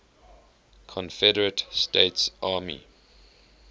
confederate states army